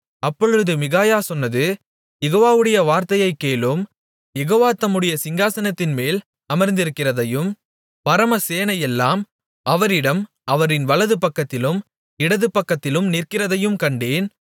அப்பொழுது மிகாயா சொன்னது யெகோவாவுடைய வார்த்தையைக் கேளும் யெகோவா தம்முடைய சிங்காசனத்தின்மேல் அமர்ந்திருக்கிறதையும் பரமசேனையெல்லாம் அவரிடம் அவரின் வலது பக்கத்திலும் இடது பக்கத்திலும் நிற்கிறதையும் கண்டேன்